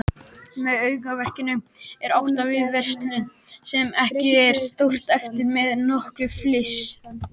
Með aukaverkun er átt við verkun sem ekki er sóst eftir með notkun lyfs.